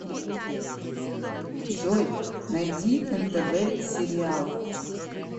джой найди нтв сериал